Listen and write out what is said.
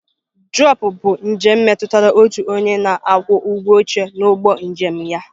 Drọpụ bụ njem metụtara otu onye na-akwụ ụgwọ oche n'ụgbọ njem ya.